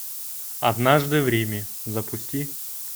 однажды в риме запусти